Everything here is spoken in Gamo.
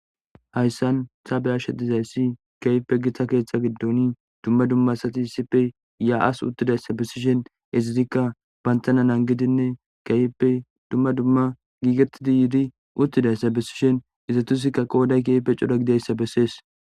hayssan tabe ashe dizayssi keype gitta keeththa giddon dumma dumma sati sipe ya7as uttidayssabisishen ezizikka bantana nan gidinne keype dumma dumma giigetidi yiidi uttidayssa bisishen izatusikka qooday keype cuda gideyssa bessees